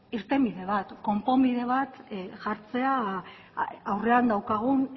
irtenbide bat konponbide bat jartzea aurrean daukagun